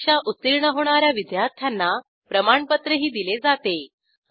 परीक्षा उत्तीर्ण होणा या विद्यार्थ्यांना प्रमाणपत्रही दिले जाते